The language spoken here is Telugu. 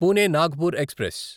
పూణే నాగ్పూర్ ఎక్స్ప్రెస్